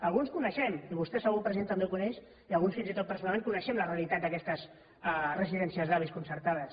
alguns coneixem i vostè segur president també ho coneix i alguns fins i tot personalment la realitat d’aquestes residències d’avis concertades